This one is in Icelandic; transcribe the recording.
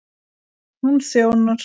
Hún þjónar